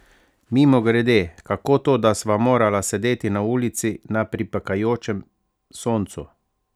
Mimogrede, kako to, da sva morala sedeti na ulici, na pripekajočem soncu?